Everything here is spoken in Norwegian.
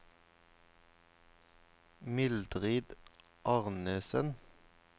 Mildrid Arnesen